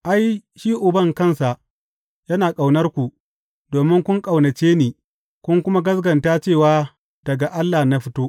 Ai, shi Uban kansa yana ƙaunarku domin kun ƙaunace ni kun kuma gaskata cewa daga Allah na fito.